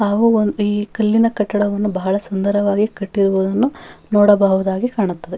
ಹಾಗೂ ಒಂದ್ ಈ ಕಲ್ಲಿನ ಕಟ್ಟಡವನ್ನು ಬಹಳ ಸುಂದರವಾಗಿ ಕಟ್ಟಿರುವುದನ್ನು ನೋಡಬಹುದಾಗಿ ಕಾಣುತ್ತದೆ.